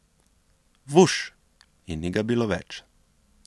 Vuš, in ni ga bilo več.